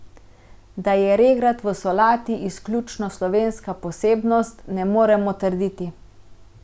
Da je regrat v solati izključno slovenska posebnost, ne moremo trditi.